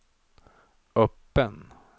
öppen